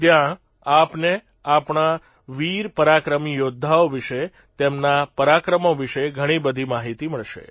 ત્યાં આપને આપણા વીર પરાક્રમી યોદ્ધાઓ વિષે તેમના પરાક્રમો વિષે ઘણી બધી માહિતી મળશે